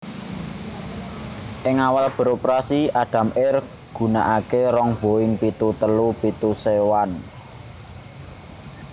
Ing awal beroperasi Adam Air gunakaké rong Boeing pitu telu pitu séwan